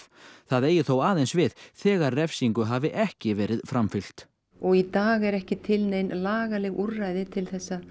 það eigi þó aðeins við þegar refsingu hafi ekki verið framfylgt og í dag eru ekki til nein lagaleg úrræði til þess að